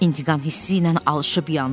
İntiqam hissi ilə alışıp yandı.